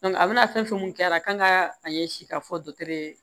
a bɛna fɛn fɛn min kɛra a la kan ka a ɲɛsin ka fɔ